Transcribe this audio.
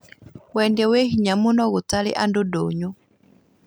Wendĩa wĩ hinya mũno gũtarĩ andũ ndũnyũ